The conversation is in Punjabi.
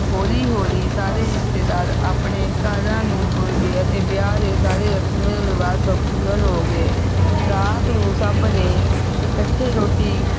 ਹੋਲੀ ਹੋਲੀ ਸਾਰੇ ਰਿਸ਼ਤੇਦਾਰ ਆਪਣੇ ਘਰਾਂ ਨੂੰ ਤੁਰ ਗਏ ਤੇ ਵਿਆਹ ਦੇ ਸਾਰੇ ਰਸਮੋ ਰਿਵਾਜ਼ ਸੰਪੂਰਨ ਹੋ ਗਏ ਰਾਤ ਨੂੰ ਸਭ ਨੇ ਇਕੱਠੇ ਰੋਟੀ